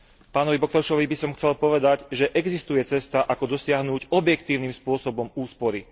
Pánovi Boklešovi by som chcel povedať, že existuje cesta ako dosiahnuť objektívnym spôsobom úspory.